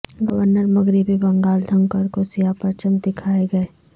governor مغربی بنگال دھنکر کو سیاہ پرچم دیکھائے گئے